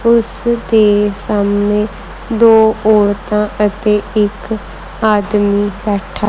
ਉਸ ਦੇ ਸਾਹਮਣੇ ਦੋ ਔਰਤਾਂ ਅਤੇ ਇੱਕ ਆਦਮੀ ਬੈਠਾ--